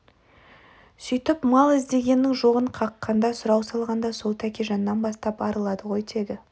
сүйтіп мал іздегеннің жоғын қаққанда сұрау салғанда сол тәкежаннан бастап арылады ғой тегі